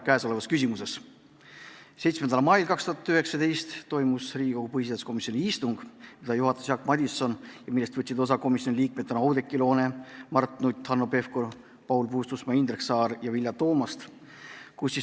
7. mail 2019 toimus Riigikogu põhiseaduskomisjoni istung, mida juhatas Jaak Madison ja millest võtsid komisjoni liikmetena osa Oudekki Loone, Mart Nutt, Hanno Pevkur, Paul Puustusmaa, Indrek Saar ja Vilja Toomast.